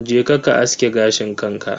Je ka ka aske gashin kanka.